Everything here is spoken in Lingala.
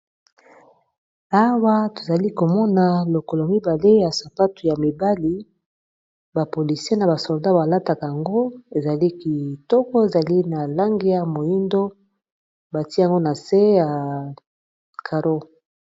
Awa tozali komona lokolo mibale ya sapatu ya mibali bapolisii na basolda balataka yango ezali kitoko ezali na lange ya moindo, batiango na se ya caro.